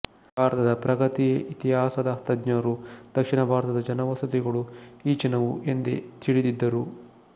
ಭಾರತದ ಪ್ರಾಗಿತಿಹಾಸದ ತಜ್ಞರು ದಕ್ಷಿಣ ಭಾರತದ ಜನವಸತಿಗಳು ಈಚಿನವು ಎಂದೇ ತಿಳಿದಿದ್ದರು